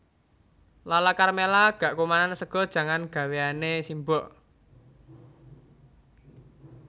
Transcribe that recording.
Lala Karmela gak kumanan sega jangan gawenane simbok